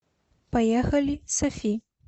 поехали софи